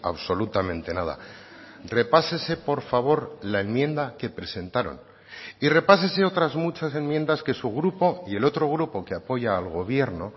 absolutamente nada repásese por favor la enmienda que presentaron y repásese otras muchas enmiendas que su grupo y el otro grupo que apoya al gobierno